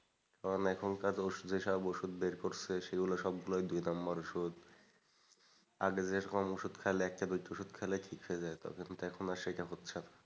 কারণ এখনকার ওষুধে সব ওষুধ বের করেছে সেগুলো সবগুলোই সব দুই নম্বর ওষুধ আগে যেরকম ওষুধ খাইলে এক চামচ ওষুধ খাইলেই ঠিক হয়ে যেত কিন্তু এখন আর সেটা হচ্ছে না।